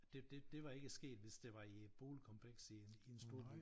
Det det det var ikke sket hvis det var et boligkompleks i i en storby